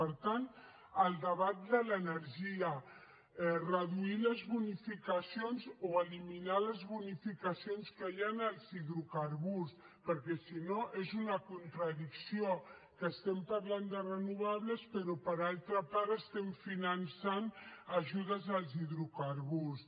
per tant el debat de l’energia reduir les bonificacions o eliminar les bonificacions que hi ha als hidrocarburs perquè si no és una contradicció que estem parlant de renovables però per altra part estem finançant ajudes als hidrocarburs